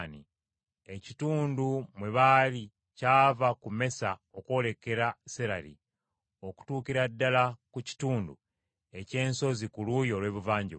Ekitundu mwe baali kyava ku Mesa okwolekera Serali, okutuukira ddala ku kitundu eky’ensozi ku luuyi olw’ebuvanjuba.